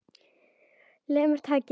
Lemur tækið.